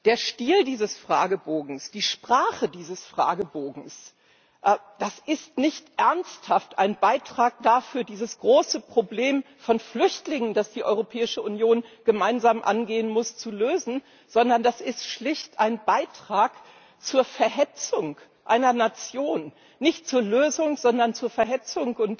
Der Stil dieses Fragebogens, die Sprache dieses Fragebogens das ist nicht ernsthaft ein Beitrag dazu, dieses große Problem von Flüchtlingen, das die Europäische Union gemeinsam angehen muss, zu lösen, sondern das ist schlicht ein Beitrag zur Verhetzung einer Nation, nicht zur Lösung, sondern zur Verhetzung.